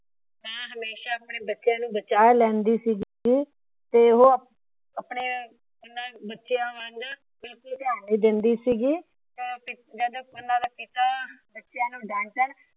ਮਾਂ ਹਮੇਸ਼ਾ ਆਪਣੇ ਬੱਚੇ ਨੂੰ ਬਚਾ ਲੈਂਦੀ ਸੀ। ਤੇ ਉਹ ਆਪਣੇ ਓਹਨਾ ਬੱਚਿਆਂ ਵੱਲ ਬਿਲਕੁਲ ਧਿਆਨ ਨਹੀਂ ਦੇਂਦੀ ਸੀਗੀ। ਉਹਨਾਂ ਦਾ ਪਿਤਾ ਬੱਚਿਆਂ ਨੂੰ ਡਾੱਟਣ